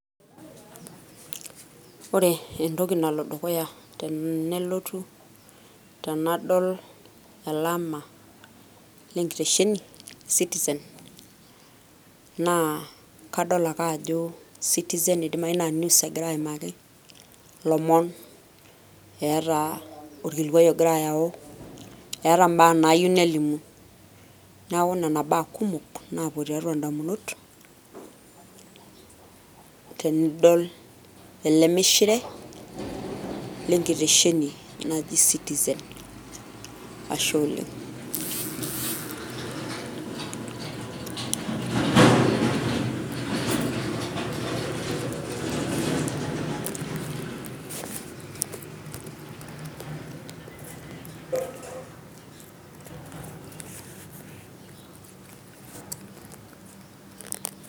Ore entoki nalo dukuya tenelotu tenadol elama lenkitesheni e Citizen, naa kadol ake ajo Citizen idimayu na news egira aimaki, ilomon eeta olkilikwai ogira ayau, eeta mbaa nayieu nelimu. Neeku nena baa kumok napuo tiatua damunot, tenidol ele mishire, lenkitesheni naji Citizen. Ashe oleng'.